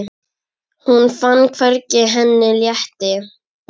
Hún fann hvernig henni létti.